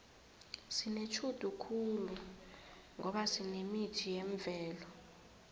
sinetjhudu khulu ngoba sinemithi yemvelo